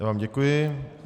Já vám děkuji.